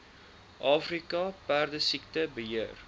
afrika perdesiekte beheer